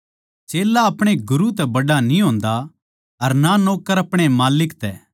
चेल्ला अपणे गुरू तै बड्ड़ा न्ही होंदा अर ना नौक्कर अपणे माल्लिक तै